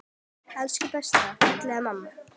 Elsku besta, fallega mamma.